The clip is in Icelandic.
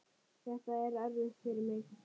Þetta var erfitt fyrir mig.